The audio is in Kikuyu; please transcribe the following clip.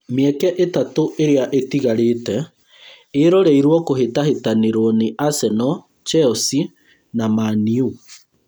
Mĩeke ĩtatũ ĩrĩa ĩtigarĩte ĩroreirwo kũhĩtahĩtanĩrwo nĩ arsenal, Chelsea, na Man-U